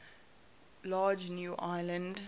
large new land